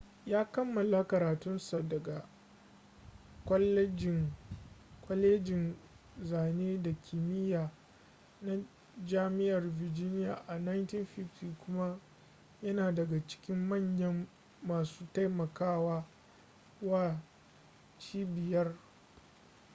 ya kammala karatun sa daga kwalejin zane da kimiya na jami'ar virginia a 1950 kuma yana daga cikin manyan masu taimaka wa cibiyar